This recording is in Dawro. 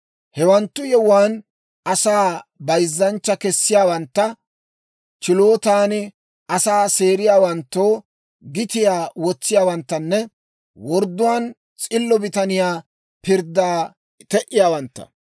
Hewanttu yewuwaan asaa bayzzanchcha kessiyaawantta, chilootan asaa seeriyaawanttoo gitiyaa wotsiyaawanttanne wordduwaan s'illo bitaniyaa pirddaa te"iyaawantta.